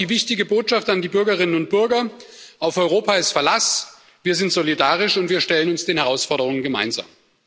Das ist auch die wichtige Botschaft an die Bürgerinnen und Bürger Auf Europa ist Verlass, wir sind solidarisch, und wir stellen uns den Herausforderungen gemeinsam.